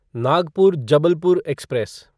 Nagpur Jabalpur express